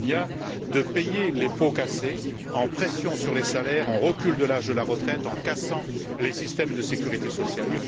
Almunia, de payer les pots cassés en pressant sur les salaires, en reculant l'âge de la retraite et en cassant les systèmes de sécurité sociale.